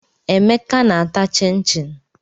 Emeka na-ata chịn chịn.